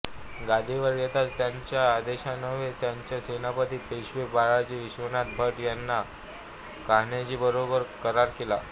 गादीवर येताच त्याच्या आदेशान्वये त्यांचे सेनापती पेशवे बाळाजी विश्वनाथ भट यांनी कान्होजींबरोबर करार केला